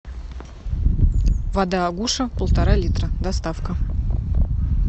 вода агуша полтора литра доставка